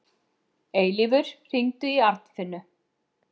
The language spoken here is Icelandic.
Eilífur, hringdu í Arnfinnu.